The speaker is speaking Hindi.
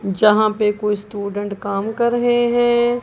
जहां पे कोई स्टूडेंट काम कर रहे हैं।